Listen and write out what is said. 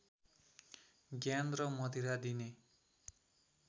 ज्ञान र मदिरा दिने